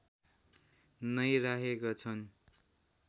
नै राखेका छन्